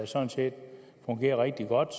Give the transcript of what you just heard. sådan set fungerer rigtig godt